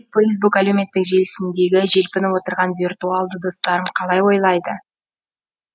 фейсбук әлеуметтік желісіндегі желпініп отырған виртуалды достарым қалай ойлайды